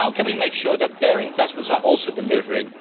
How can we make sure that their investments are also delivering?